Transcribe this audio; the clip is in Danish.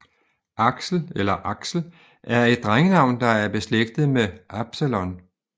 Aksel eller Axel er et drengenavn der er beslægtet med Absalon